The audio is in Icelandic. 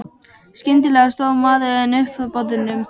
Skyndilega stóð maðurinn upp frá borðum.